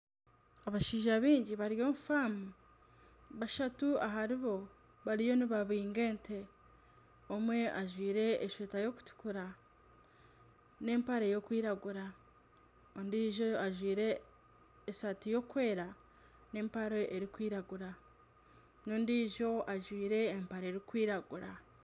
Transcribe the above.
Abashaija baingi bari omu faamu bashatu aharibo bariyo nibahinga ente omwe ajwaire eshweta eyokutukura n'empare eyokwiragura ondiijo ajwaire esaati erikwera nana empare erikwiragura n'ondiijo ajwaire empare erikwiragura.